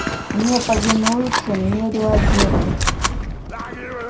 не повинуются не реагируют